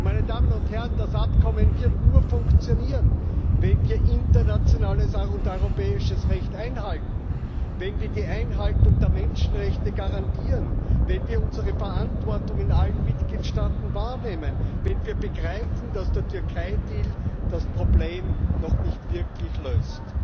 Meine Damen und Herren, das Abkommen wird nur funktionieren, wenn wir internationales und europäisches Recht einhalten, wenn wir die Einhaltung der Menschenrechte garantieren, wenn wir unsere Verantwortung in allen Mitgliedstaaten wahrnehmen, wenn wir begreifen, dass der Türkei Deal das Problem noch nicht wirklich löst.